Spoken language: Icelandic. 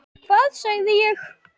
Hvað sagði ég??